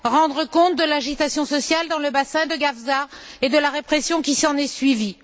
Rendre compte de l'agitation sociale dans le bassin de Gafsa et de la répression qui s'en est suivie.